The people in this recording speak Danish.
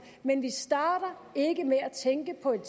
men vi starter ikke med at tænke på et